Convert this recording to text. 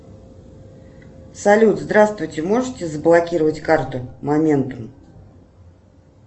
салют здравствуйте можете заблокировать карту моментум